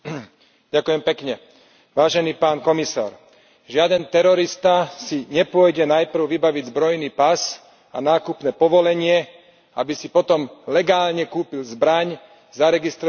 Žiaden terorista si nepôjde najprv vybaviť zbrojný pas a nákupné povolenie, aby si potom legálne kúpil zbraň, zaregistroval ju na polícii a spáchal teroristický útok.